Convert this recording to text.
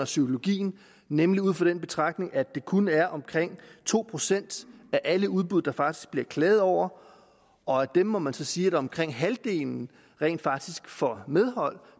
psykologien nemlig ud fra den betragtning at det kun er omkring to procent af alle udbud der faktisk bliver klaget over og af dem må man så sige at omkring halvdelen rent faktisk får medhold